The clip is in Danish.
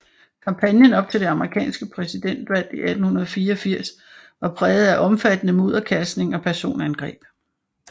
Kampagnen op til det amerikanske præsidentvalg 1884 var præget af omfattende mudderkastning og personangreb